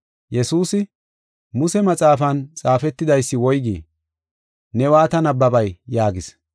Yesuusi, “Muse maxaafan xaafetidaysi woygii? Ne waata nabbabay?” yaagis.